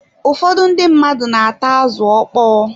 Ụfọdụ ndị mmadụ na-ata azụ ọkpọ.